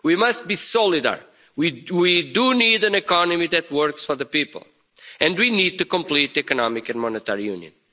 We must be more solid. We do need an economy that works for the people, and we need to complete economic and monetary union.